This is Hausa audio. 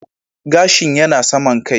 Gashin yana saman kai